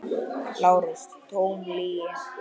LÁRUS: Tóm lygi!